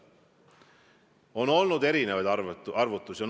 On olnud erinevaid arvutusi.